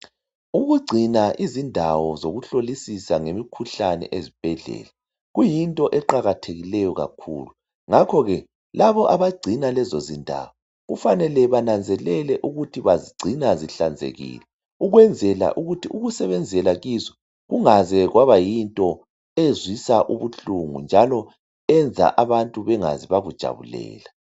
ukugcina izindawo zokuhlolisisa ngemikhuhlane ezibhedlela kuyinto eqakathekielyo kakhulu ngakho ke labo abagcina lezo zindawo kufanele bananzelele ukuthi bazigcina zihlanzekile ukwenzela ukuthi ukusebenzela kizo kungaze kwaba yinto ezwisa ubuhlungu njalo enza abantu bengaze bakujabulela